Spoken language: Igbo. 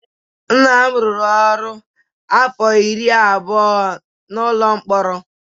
Nna m rụrụ ọrụ afọ iri abụọ n'ụlọ mkpọrọ.